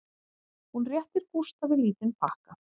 Hún réttir Gústafi lítinn pakka